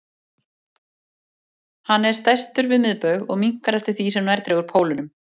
Hann er stærstur við miðbaug og minnkar eftir því sem nær dregur pólunum.